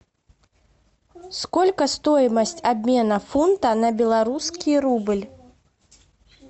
сколько стоимость обмена фунта на белорусский рубль